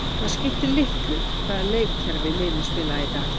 Það skiptir litlu hvaða leikkerfi liðin spila í dag.